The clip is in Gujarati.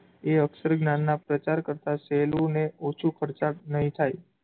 એ અક્ષરજ્ઞાનનાં પ્રચાર કરતાં સહેલું અને ઓછું ખરચાળ નહીં થાય.